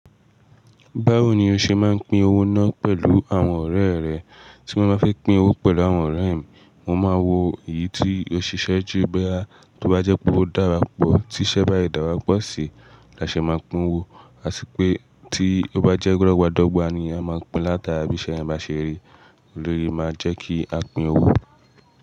Báwo ni o ṣe máa ń pín owó náà pẹ̀lú àwọn ọ̀rẹ́ rẹ? Tí mo bá fẹ́ pín owó pẹ̀lú àwọn ọ̀rẹ́ mi, mo máa wo èyí tí ó ṣiṣẹ́ jù boyà tó bá jẹ́ pé ó dára pọ̀, tí iṣẹ́ bá dàrú pọ̀ sí, la ṣe máa pín owó. A sì pé tí ó bá jẹ́ dọ̀gbà dọ́gba ni a máa pín látara bí iṣẹ́ yẹn bá ṣe rí. Éléyì máa ń jẹ́ kí a pín owó.